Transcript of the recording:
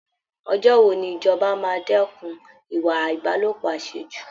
Ọjọ́ wo ni ìjọba máa dẹ́kun ìwà Ìbálòpọ̀ àṣejù!